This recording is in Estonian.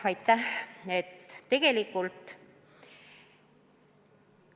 Aitäh!